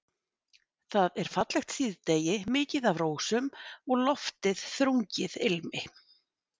Það er fallegt síðdegi, mikið af rósum og loftið þrungið ilmi.